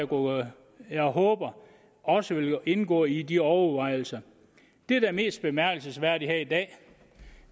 noget jeg håber også vil indgå i de overvejelser det der er mest bemærkelsesværdigt her i dag